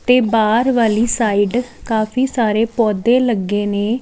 ਤੇ ਬਾਹਰ ਵਾਲੀ ਸਾਈਡ ਕਾਫੀ ਸਾਰੇ ਪੌਦੇ ਲੱਗੇ ਨੇ।